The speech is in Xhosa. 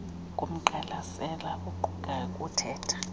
komgqalisela oqukayo wothetha